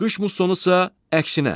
Qış mussonu isə əksinə.